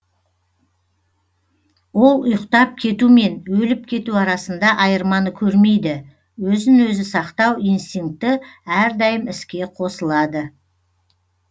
ол ұйықтап кету мен өліп кету арасында айырманы көрмейді өзін өзі сақтау инстинкті әрдайым іске қосылады